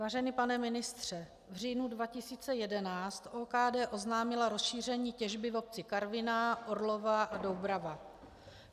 Vážený pane ministře, v říjnu 2011 OKD oznámila rozšíření těžby v obci Karviná, Orlová a Doubrava.